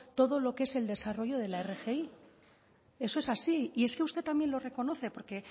todo lo que es el desarrollo de la rgi eso es así y es que usted también lo reconoce porque